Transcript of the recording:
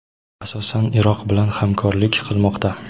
asosan Iroq bilan hamkorlik qilmoqda.